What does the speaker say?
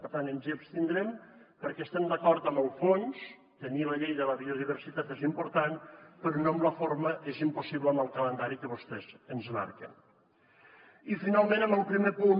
per tant ens hi abstindrem perquè estem d’acord amb el fons tenir la llei de la biodiversitat és important però no amb la forma és impossible amb el calendari que vostès ens marqueni finalment amb el primer punt